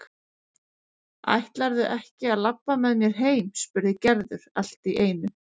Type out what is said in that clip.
Ætlarðu ekki að labba með mér heim? spurði Gerður allt í einu.